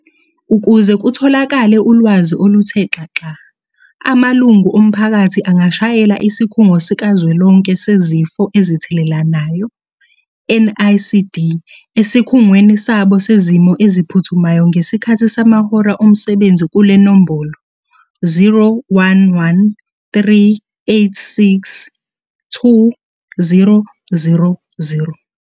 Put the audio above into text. Ukuze kutholakale ulwazi oluthe xaxa, amalungu omphakathi angashayela Isikhungo Sikazwelonke Sezifo Ezithelelanayo, NICD, Esikhungweni Sabo Sezimo Eziphuthumayo ngesikhathi samahora omsebenzi kule nombolo- 011 386 2000.